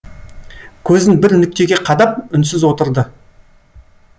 көзін бір нүктеге қадап үнсіз отырды